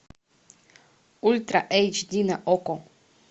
ультра эйч ди на окко